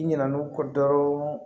I ɲinɛn'u kɔ dɔrɔn